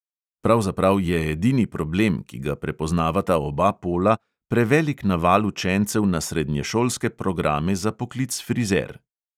Pravzaprav je edini problem, ki ga prepoznavata oba pola, prevelik naval učencev na srednješolske programe za poklic frizer.